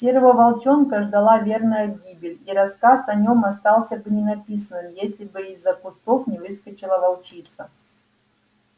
серого волчонка ждала верная гибель и рассказ о нём остался бы ненаписанным если бы из-за кустов не выскочила волчица